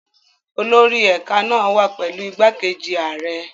Olórí ẹ̀ka náà wà pẹ̀lú igbákejì ààrẹ.